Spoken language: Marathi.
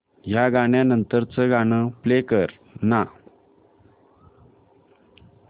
या गाण्या नंतरचं गाणं प्ले कर ना